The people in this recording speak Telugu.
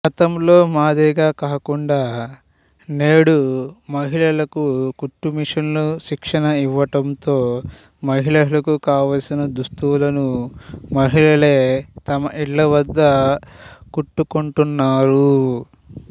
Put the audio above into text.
గతంలో మాదిరిగా కాకుండా నేడు మహిళలకు కుట్టుమిషన్లు శిక్షణఇవ్వడంతో మహిళలకు కావాల్సిన దుస్తులను మహిళలే తమ ఇళ్ళవద్ద కుట్టుకొంటు న్నారు